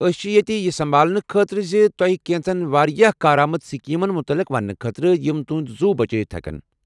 أسۍ چھ ییٚتہ یہِ سمبھالنہٕ خٲطرٕ زِ تۄہہ کیٚنٛژن واریاہ کارآمد سکیمن متعلق ونٛنہٕ خٲطرٕ یم تُہُنٛد زُو بچٲوِتھ ہٮ۪کن ۔